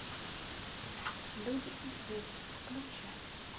люди и звери включай